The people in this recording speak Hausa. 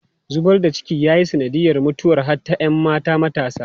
Zubar da ciki ya yi sanadiyar mutuwar hatta ‘yan mata matasa.